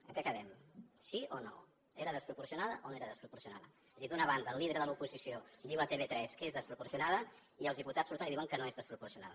en què quedem sí o no era desproporcionada o no era desproporcionada és a dir d’una banda el líder de l’oposició diu a tv3 que és desproporcionada i els diputats surten i diuen que no és desproporcionada